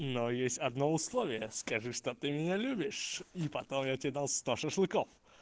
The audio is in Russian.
но есть одно условие скажи что ты меня любишь и потом я тебе дал сто шашлыков